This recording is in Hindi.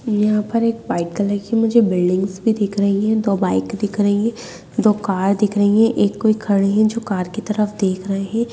यहाँ पर एक वाइट कलर कि मुझे बिल्डिंग्स भी दिख रही है दो बाइक दिख रही है दो कार दिख रही है एक कोई खड़े है जो कार कि तरफ देख रहे हैं।